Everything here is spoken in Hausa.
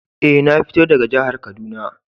Eh, na fito daga jihar Kaduna.